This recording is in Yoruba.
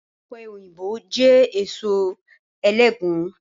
Ọpẹ́yinbo jẹ́ èso ẹlẹgùn